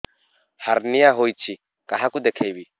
hernia ହୋଇଛି କାହାକୁ ଦେଖେଇବି